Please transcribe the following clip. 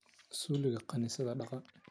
Zuulika kanisadha dhagaa.